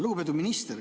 Lugupeetud minister!